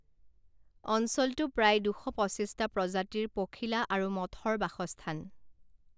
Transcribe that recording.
অঞ্চলটো প্ৰায় দুশ পঁচিছটা প্ৰজাতিৰ পখিলা আৰু মথৰ বাসস্থান।